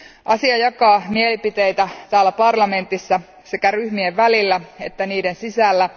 Asia jakaa mielipiteitä täällä parlamentissa sekä ryhmien välillä että niiden sisällä.